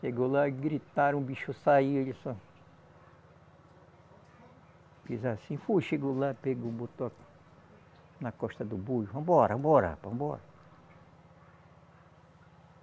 Chegou lá, gritaram, o bicho saiu, ele só. Fiz assim, fui, chegou lá, pegou, botou a na costa do boi, vamos embora, vamos embora rapaz, vamos embora.